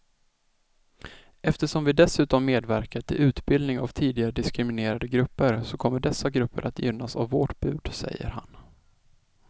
Eftersom vi dessutom medverkar till utbildning av tidigare diskriminerade grupper så kommer dessa grupper att gynnas av vårt bud, säger han.